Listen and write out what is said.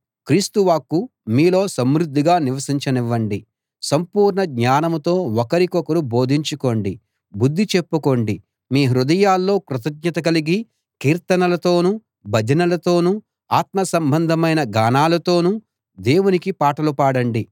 క్రీస్తు వాక్కు మీలో సమృద్ధిగా నివసించనివ్వండి సంపూర్ణ జ్ఞానంతో ఒకరికొకరు బోధించుకోండి బుద్ది చెప్పుకోండి మీ హృదయాల్లో కృతజ్ఞత కలిగి కీర్తనలతోనూ భజనలతోనూ ఆత్మ సంబంధమైన గానాలతోనూ దేవునికి పాటలు పాడండి